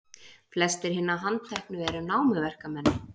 Flestir hinna handteknu eru námuverkamenn